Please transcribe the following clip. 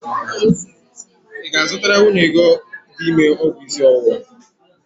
Ị ga-azụtara nwunye gị dị ime ọgwụ isi ọwụwa?